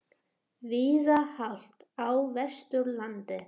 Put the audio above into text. Víða hált á Vesturlandi